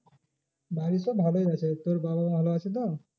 বাড়ির সব ভালোই আছে তোর বাবা মা ভালো আছে তো?